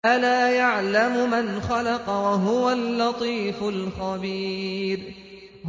أَلَا يَعْلَمُ مَنْ خَلَقَ وَهُوَ اللَّطِيفُ الْخَبِيرُ